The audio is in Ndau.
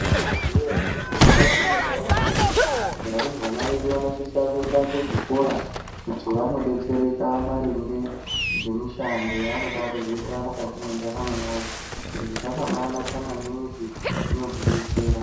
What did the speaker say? Munozviziya here kuti mukati me ntaramo yedu varumbwana vedu vanosise kuenda muzvikora kuti vanodetsereka maringe nemishando yavanoda kuzoita mukati mentaramo yavo, izvi zvakanaka maningi zvinoti betsera.